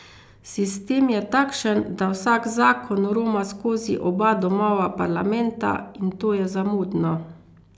Sistem je takšen, da vsak zakon roma skozi oba domova parlamenta, in to je zamudno.